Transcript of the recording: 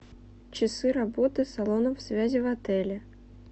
часы работы салонов связи в отеле